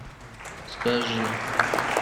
скажи